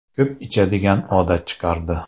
ko‘p ichadigan odat chiqardi.